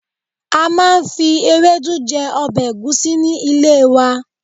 A máa ń fi ewedu jẹ ọbẹ̀ egusi ní ilé wa.